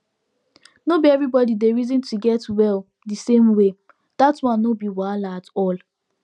nor be everybody dey reason to get well the same way that one nor be wahala at all